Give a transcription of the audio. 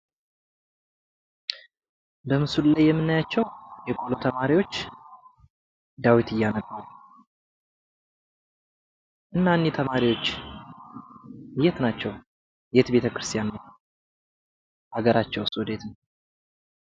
በምስሉ ላይ የምናያቸው የቆሎ ተማሪዎች ዳዊት እያነበቡ። እና እኒህ ተማሪዎች የት ናቸው? የት ቤተክርስቲያን ናቸው? ሀገራቸውስ ወዴት ነው?